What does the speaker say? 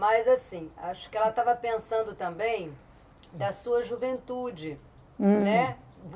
Mas, assim, acho que ela estava pensando também da sua juventude, né?